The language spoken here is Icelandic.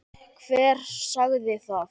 Hver sagði það?